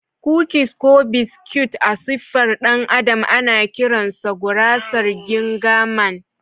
Kukis ko biscuit a siffar ɗan adam ana kiransa gurasar ginger Man